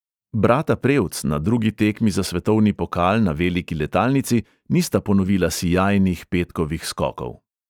Brata prevc na drugi tekmi za svetovni pokal na veliki letalnici nista ponovila sijajnih petkovih skokov.